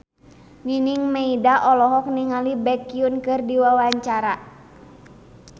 Nining Meida olohok ningali Baekhyun keur diwawancara